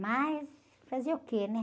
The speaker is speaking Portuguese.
Mas fazer o quê, né?